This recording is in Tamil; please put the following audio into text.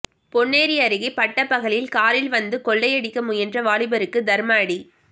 பொன்னேரி அருகே பட்டப்பகலில் காரில் வந்து கொள்ளை அடிக்க முயன்ற வாலிபருக்கு தர்ம அடி